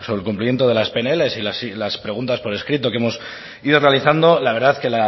el cumplimiento de las pnl y las preguntas por escrito que hemos ido realizando la verdad es que el